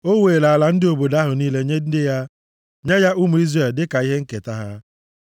O weere ala ndị obodo ahụ niile nye ndị ya, nye ya ụmụ Izrel dịka ihe nketa ha.